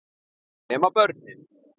Nema börnin.